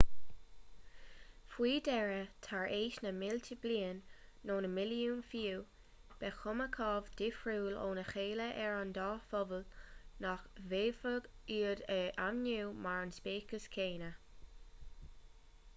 faoi dheireadh tar éis na mílte bliain nó na milliúin fiú beidh cuma chomh difriúil óna chéile ar an dá phobal nach bhféadfaidh iad a ainmniú mar an speiceas céanna